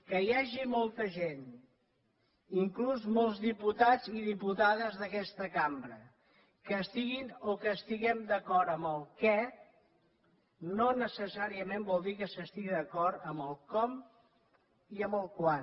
que hi hagi molta gent inclús molts diputats i diputades d’aquesta cambra que estiguin o que estiguem d’acord amb el què no necessàriament vol dir que s’estigui d’acord amb el com i amb el quan